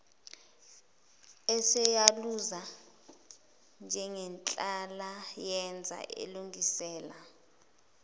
eseyaluza njengenhlalayenza elungisela